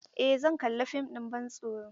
Eh zan kalla fim ɗin bantsoro.